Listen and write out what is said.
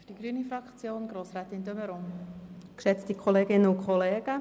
Die Lampe blinkt und deshalb schliesse ich bereits.